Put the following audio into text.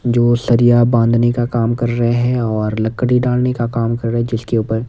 जो सरिया बांधने का काम कर रहे हैं और लकड़ी डालने का काम कर रहे हैं जिसके ऊपर--